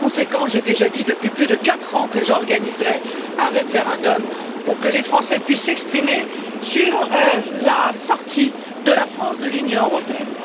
Par conséquent, j'ai déjà dit depuis plus de 4 ans que j'organiserais un référendum pour que les Français puissent s'exprimer sur la sortie de la France de l'Union européenne.